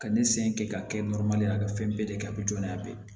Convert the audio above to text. Ka ne sen ke k'a kɛ a ka fɛn bɛɛ de ye a bɛ jɔn n'a bɛɛ ye